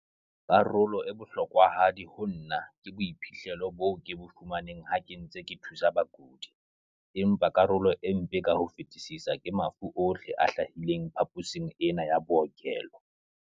Karolo e bohlokwahadi ho nna ke boiphihlelo bo ke bo fumaneng ha ke ntse ke thusa bakudi, empa karolo e mpe ka ho fetisisa ke mafu ohle a hlahileng phaposing ena ya bookelo.